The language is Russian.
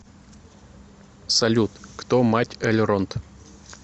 салют кто мать эльронд